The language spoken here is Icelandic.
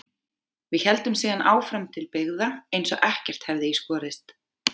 Við héldum síðan áfram til byggða eins og ekkert hefði í skorist.